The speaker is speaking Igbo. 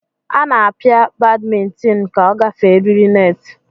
Ana apia badmintin ka ogafee eriri net.